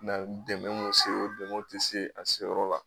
dɛmɛ mun se o dɛmɛ o tɛ se a seyɔrɔ la.